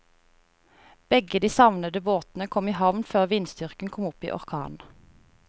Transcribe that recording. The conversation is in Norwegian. Begge de savnede båtene kom i havn før vindstyrken kom opp i orkan.